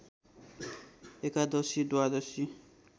एकादशी द्वादशी